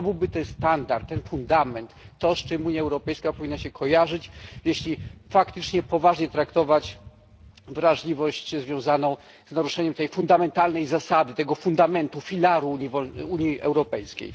To byłby ten standard, ten fundament, to, z czym Unia Europejska powinna się kojarzyć, jeśli faktycznie poważnie traktować wrażliwość związaną z naruszaniem tej fundamentalnej zasady, tego filaru Unii Europejskiej.